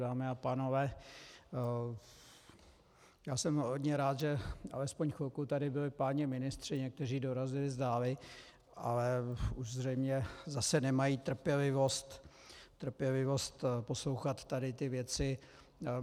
Dámy a pánové, já jsem hodně rád, že alespoň chvilku tady byli páni ministři, někteří dorazili zdáli, ale už zřejmě zase nemají trpělivost poslouchat tady ty věci.